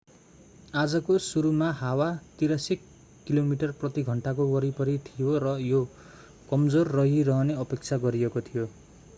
आजको सुरुमा हावा 83 किमी प्रति घण्टाको वरिपरि थियो र यो कमजोर रहिरहने अपेक्षा गरिएको थियो